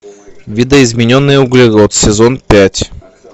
видоизмененный углерод сезон пять